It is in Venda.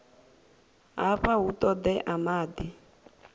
hafha hu ṱoḓea maḓi o